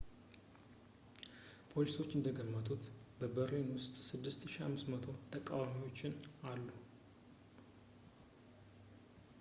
ፖሊሶች እንደገመቱት በርሊን ውስጥ 6,500 ተቃዋሚዎችን አሉ